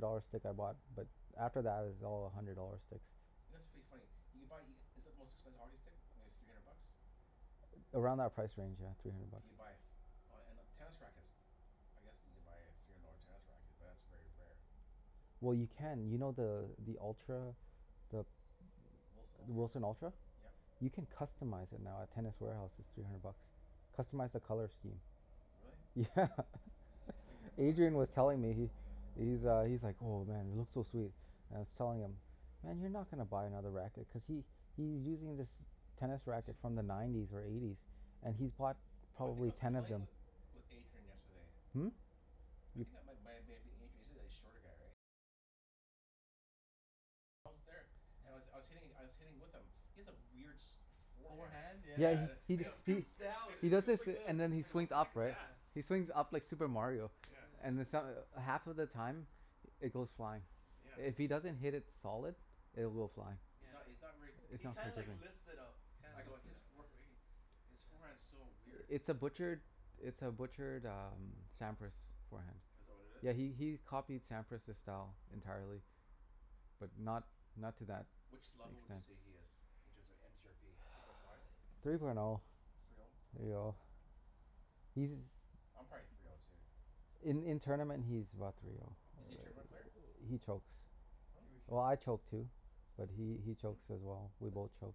dollar stick I bought. But after that it was all a hundred dollar sticks. You know, it's pretty funny you can buy e- Is it the most expensive hockey stick? Maybe three hundred bucks? Around that price range, yeah. Three hundred Can bucks. you buy a f- Oh, and uh, tennis rackets. I guess you can buy a three hundred dollar tennis racket, but that's very rare. Well, Yeah. you can. You know the the Ultra the W- Wilson the Ultra? Wilson Ultra? Yep. You can customize it now at Tennis Warehouse. It's three hundred bucks. Customize the color scheme. Really? Yeah. If you're gonna Adrian was buy telling me, he he's uh, he's like, "Oh man, it looks so sweet." And I was telling him, "Man, you're not gonna buy another racket." Cuz he he's using this tennis He racket sh- from the nineties or eighties. And he's bought Oh, I think I probably was ten of playing them. with with Adrian yesterday. Hmm? You c- And I was I Yeah. was hitting I was hitting with him. He has a weird sh- forehand. Forehand? Yeah yeah Yeah, Yeah, the yeah. he I It go he he scoops down. It he It does scoops scoops this, like this. and then he I go, "What swings the up, heck is right? that?" Yeah. He swings up like Super Mario. Yeah. And then so- half of the time it goes flying. Yeah. If he Yeah. doesn't hit it solid, it will fly. He's Yeah, not, it he's not very It's He not consistent. kinda like lifts it up. He I kinda go a lifts it his up, for- yeah. fee His forehand's Yeah. so weird. It's a butchered it's a butchered um Sampras forehand. Is that what it is? Yeah, he he he copied Sampras's style entirely. But not not to that Which level would you extent. say he is? Inches are n c r p Three point five? Three point oh. Three oh? Three oh. He's I'm probably three oh too. In in tournament he's about three oh. Is he a tournament player? He chokes. Hmm? Think we should Well, I choke too. But Let's he he Hmm? chokes as well. We both let's cho-